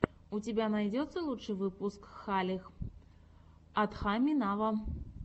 у тебя найдется лучший выпуск халех адхами нава